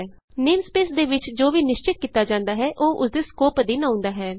namespace ਦੇ ਵਿਚ ਜੋ ਵੀ ਨਿਸ਼ਚਤ ਕੀਤਾ ਜਾਂਦਾ ਹੈ ਉਹ ਉਸਦੇ ਸਕੋਪ ਅਧੀਨ ਆਉਂਦਾ ਹੈ